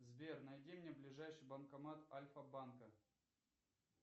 сбер найди мне ближайший банкомат альфабанка